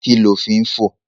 Kí ni o fín fò?